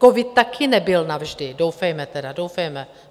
Covid také nebyl navždy, doufejme tedy, doufejme.